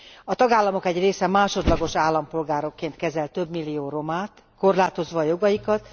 A tagállamok egy része másodlagos állampolgárként kezel többmillió romát, korlátozva a jogaikat.